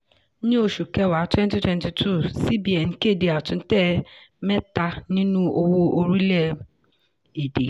ní oṣù kẹwa twenty twenty two cbn kéde àtúntẹ̀ mẹ́tà nínú owó orílẹ̀-èdè.